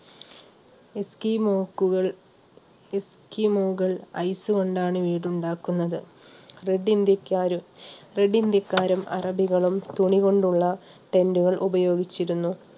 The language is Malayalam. എക്സി മോക്കുകൾ എക്സിമുകൾ ice കൊണ്ടാണ് വീടുണ്ടാക്കുന്നത് red india കാരും അറബികളും തുണികൊണ്ടുള്ള tend ഉപയോഗിച്ചിരുന്നു